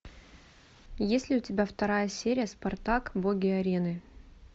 есть ли у тебя вторая серия спартак боги арены